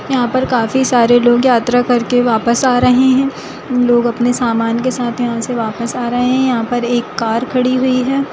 यहाँ पर काफी सारे लोग यात्रा कर के वापस आ रहे है लोग अपने सामान के साथ यहाँ से वापस आ रहे है यहाँ पर एक कार खड़ी हुई है।